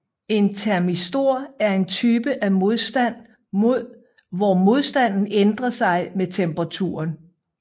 En termistor er en type af modstand hvor modstanden ændrer sig med temperaturen